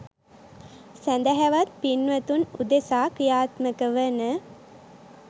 සැදැහැවත් පින්වතුන් උදෙසා ක්‍රියාත්මක වන